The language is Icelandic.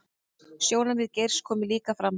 Sjónarmið Geirs komi líka fram